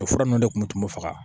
O fura ninnu de tun bɛ tunu faga